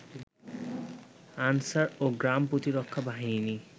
answer ও গ্রাম প্রতিরক্ষা বাহিনী